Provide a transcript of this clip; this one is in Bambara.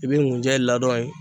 I bi ŋunjɛ ladɔn in